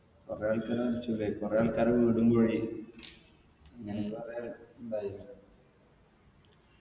കൊറേ ആൾക്കാർ മരിച്ചു ലേ കൊറേ ആൾക്കാരെ വീടും പോയി ഇതായിന്